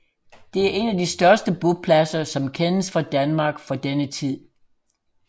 Det er en af de største bopladser som kendes fra Danmark fra denne tid